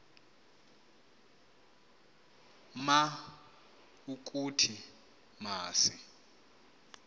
ma ukuthi masi